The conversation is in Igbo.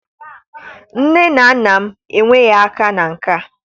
Nne na nna m enweghị aka na nke a.